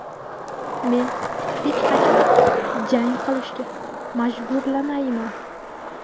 Men hech qachon jang qilishga majburlamayman.